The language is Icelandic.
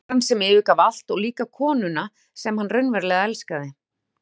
Um verndarann sem yfirgaf allt og líka konuna sem hann raunverulega elskaði.